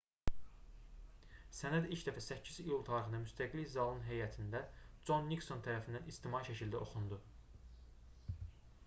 sənəd ilk dəfə 8 iyul tarixində müstəqillik zalının həyətində con nikson tərəfindən ictimai şəkildə oxundu